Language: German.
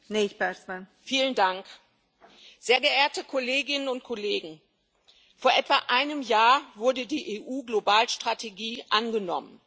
Frau Präsidentin, sehr geehrte Kolleginnen und Kollegen! Vor etwa einem Jahr wurde die EU Globalstrategie angenommen.